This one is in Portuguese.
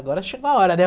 Agora chegou a hora, né?